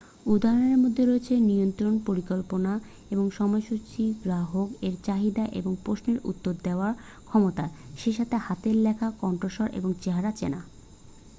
উদাহরণের মধ্যে রয়েছে নিয়ন্ত্রণ পরিকল্পনা এবং সময়সূচী গ্রাহক এর চাহিদা এবং প্রশ্নের উত্তর দেওয়ার ক্ষমতা সেই সাথে হাতের লেখা কণ্ঠস্বর এবং চেহারা চেনা